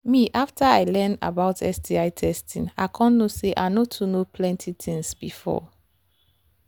na after i learn about sti testing i come know say i no too know plenty things before